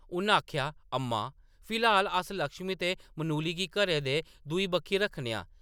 उन आखेआ, “अम्मा, फिलहाल अस लक्ष्मी ते मनुली गी घरै दे दूई बक्खी रक्खने आं।